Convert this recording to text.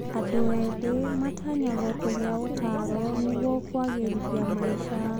Andũ ethĩ matanyagwo kũgĩa ũtaaro nĩguo kũagĩrithia maica.